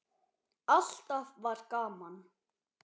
Alltaf var gaman.